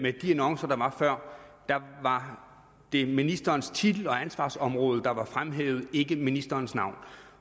i de annoncer der var før var det ministerens titel og ansvarsområde der var fremhævet ikke ministerens navn